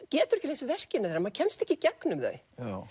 getur ekki lesið verkin þeirra maður kemst ekki í gegnum þau